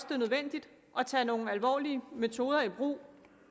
det er nødvendigt at tage nogle alvorlige metoder i brug